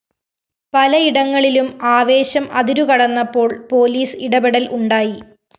പലയിടങ്ങളിലും ആവേശം അതിരുകടന്നപ്പോള്‍ പോലീസ് ഇടപെടല്‍ ഉണ്ടായി